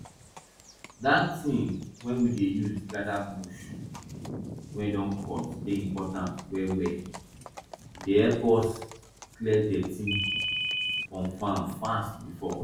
dat ting wey we dey use gather bush wey don cut dey important well well e dey help we clear deti from farm fast before